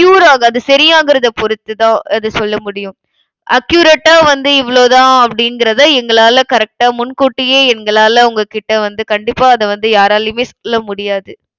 cure ஆகாது. சரியாகிறதை பொறுத்துதான் அது சொல்ல முடியும் accurate ஆ வந்து இவ்ளோதான் அப்படிங்கிறதை, எங்களால correct ஆ முன் கூட்டியே எங்களால உங்ககிட்ட வந்து கண்டிப்பா அதை வந்து, யாராலையுமே சொல்ல முடியாது.